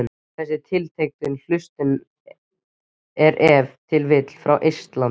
Þessi tiltekni hlustandi er ef til vill frá Eistlandi.